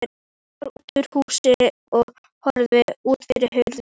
Hann fór út úr húsinu og horfði út yfir hraunið.